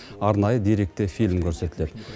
арнайы деректі фильм көрсетіледі